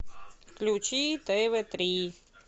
включи тв три